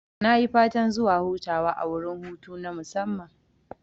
Nayi fatan zuwa hutawa a wurin hutu na musamman